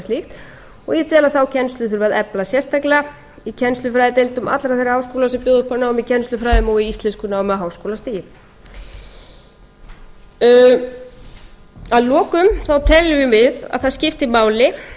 og ég tel að þá kennslu þurfi að efla sérstaklega í kennslufræðideildum allra þeirra háskóla sem bjóða upp á nám í kennslufræðum og í íslenskunámi á háskólastigi að lokum teljum við að það skipti